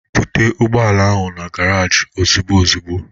Buta ụgbọala ahụ na garaji ozigbo ozigbo!